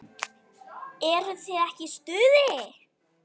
Eruð þið ekki í stuði?